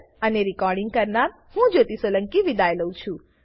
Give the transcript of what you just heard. IIT Bombay તરફથી હું જ્યોતિ સોલંકી વિદાય લઉં છું